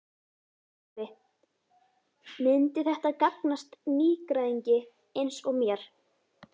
Sölvi: Myndi þetta gagnast nýgræðingi eins og mér?